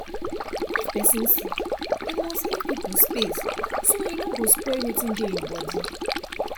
if person sick e must give people space so e nor go spread wetin dey him body